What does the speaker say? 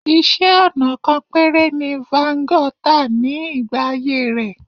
Iṣẹ́-ọnà kan péré ni Van Gogh tà ní ìgbà ayé rẹ̀.